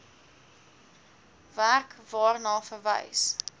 werk waarna verwys